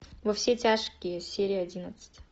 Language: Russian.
во все тяжкие серия одиннадцать